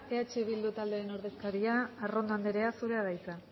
eh bildu taldearen ordezkaria arrondo andrea zurea da hitza